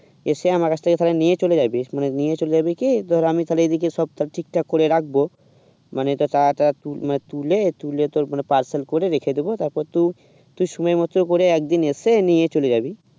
এসে আমার কাছ থেকে নিয়ে চলে যাবি নিয়ে চলে যাবে কি ধর আমি তাহলে এদিকে সব ঠিকঠাক করে রাখবো মানে তো তার তুলে তুলে তোর parcel করে রেখে দেবো তারপর তুই তুই সময় মত করে একদিন এসে নিয়ে চলে যাবে